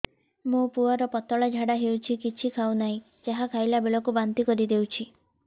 ମୋ ପୁଅ କୁ ପତଳା ଝାଡ଼ା ହେଉଛି କିଛି ଖାଉ ନାହିଁ ଯାହା ଖାଇଲାବେଳକୁ ବାନ୍ତି କରି ଦେଉଛି